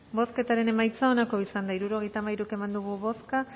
bozketaren emaitza onako izan da hirurogeita hamairu eman dugu bozka